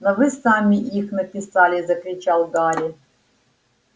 но вы сами их написали закричал гарри